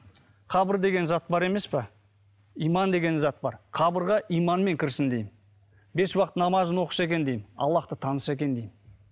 қабыр деген зат бар емес пе иман деген зат бар қабырға иманмен кірсін деймін бес уақыт намазын оқыса екен деймін аллахты таныса екен деймін